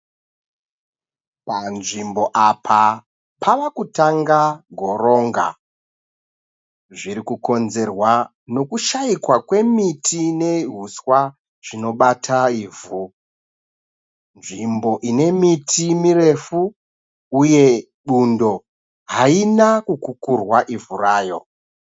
Panzvimbo apa pava kutanga goronga. Zviri kukonzerwa nekushaikwa kwemiti neuswa zvinobata ivhu. Nzvimbo ine miti mirefu uye bundo haina kukurwa ivhu rayo.